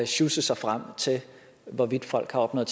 sjusse sig frem til hvorvidt folk har opnået